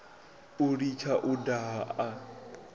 u litsha u daha a